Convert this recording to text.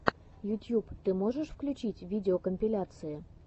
ютьюб ты можешь включить видеокомпиляции